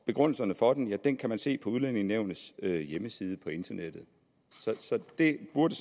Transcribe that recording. begrundelserne for den kan den kan man se på udlændingenævnets hjemmeside på internettet så det burde